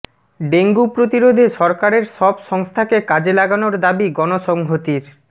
dengue প্রতিরোধে সরকারের সব সংস্থাকে কাজে লাগানোর দাবি গণসংহতির